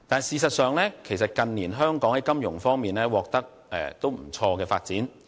事實上，近年香港在金融方面取得不俗的發展。